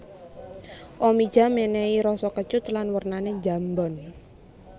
Omija menehi rasa kecut lan wernane njambon